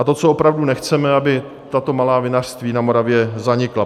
A to, co opravdu nechceme, aby tato malá vinařství na Moravě zanikla.